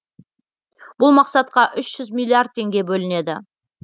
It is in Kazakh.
бұл мақсатқа үш жүз миллиард теңге бөлінеді